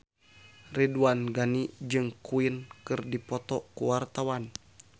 Ridwan Ghani jeung Queen keur dipoto ku wartawan